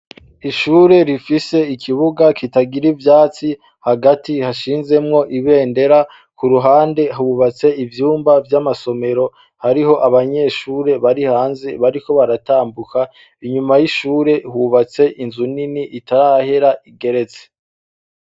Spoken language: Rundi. Ishure rifise ikibuga kitagira ivyatsi hagati hashinzemwo ibendera ku ruhande hubatse ivyumba vy'amasomero hariho abanyeshure bari hanze bariko baratambuka inyuma y'ishure hubatse inzu nini itarahera igeretse.